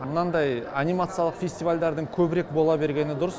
мынандай анимациялық фестивальдардың көбірек бола бергені дұрыс